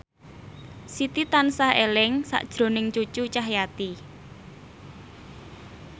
Siti tansah eling sakjroning Cucu Cahyati